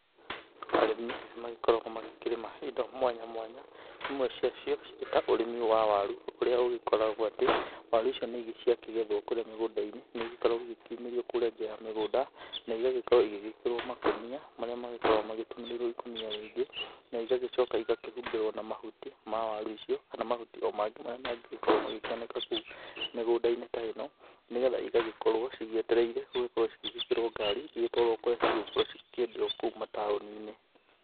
Arĩmi nĩ magĩkoragwo magĩkĩrĩma indo mwanya mwanya, imwe ciacio cirĩ ta ũrĩmi wa waru, ũria ũgĩkoragwo atĩ waru icio ciakĩgetho kũrĩa mĩgũnda-inĩ nĩ igĩkoragwo igĩkiumĩrio kũrĩa nja wa mĩgũnda na igagĩkorwo igĩgĩkĩrwo makũnia, marĩa magĩkoragwo magĩtumĩrĩirwo ikũnia rĩngĩ, na igagĩcoka igakĩhumbĩrwo na mahuti ma waru icio kana na mahuti mangĩ marĩa mangĩgĩkorwo magĩkĩoneka kou mĩgũnda-inĩ ta ĩno, nĩgetha ĩgagĩkorwo cigĩetereirwo gũgĩkorwo cigĩgĩkĩrwo ngari, igĩtwarwo kũrĩa cigũkorwo cikĩendio kou mataũni-inĩ.